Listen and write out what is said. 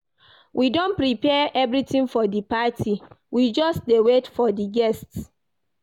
We don prepare everything for the party, we just dey wait for the guests